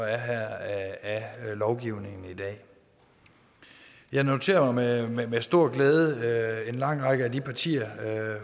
er her af lovgivningen i dag jeg noterer mig med stor glæde at en lang række af de partier